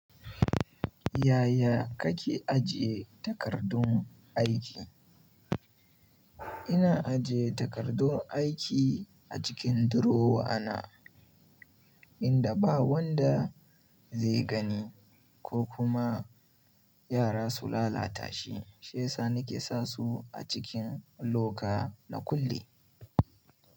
Yaya kake ajiye takardun aiki? Ina ajiye takardun aiki a cikin durowa na inda ba wanda zai gani ko kuma yara su lalata shi. Shesa nake sa su a cikin loka na kulle.